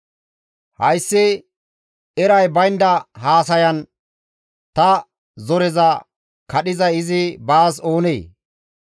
«Hayssi eray baynda haasayan ta zoreza kadhizay izi baas oonee?